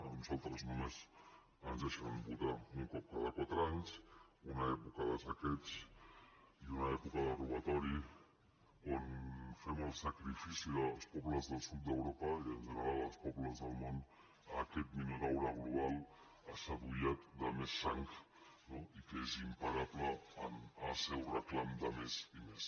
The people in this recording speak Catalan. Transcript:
a nosaltres només ens deixen votar un cop cada quatre anys una època de saqueig i una època de robatori on fem el sacrifici dels pobles del sud d’europa i en general els pobles del món a aquest minotaure global assadollat de més sang no i que és imparable en el seu reclam de més i més